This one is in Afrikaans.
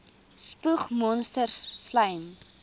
spoeg monsters slym